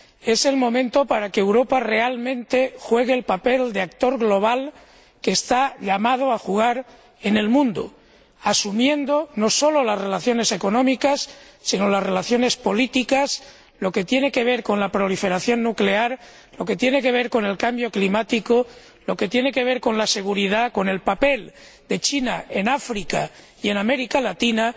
Es el momento de que Europa desempeñe realmente el papel de actor global que está llamada a desempeñar en el mundo asumiendo no solo las relaciones económicas sino también las relaciones políticas, lo que tiene que ver con la proliferación nuclear, lo que tiene que ver con el cambio climático, lo que tiene que ver con la seguridad, con el papel de China en África y en América Latina.